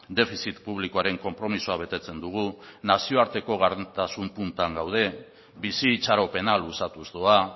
defizit publikoaren konpromisoa betetzen dugu nazioarteko gardentasun puntan gaude bizi itxaropena luzatuz doa